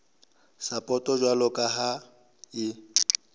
sapoto jwalo ka ha e